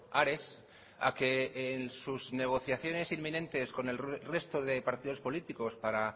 ares a que en sus negociaciones inminentes con el resto de partidos políticos para